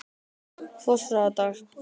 Fossárdal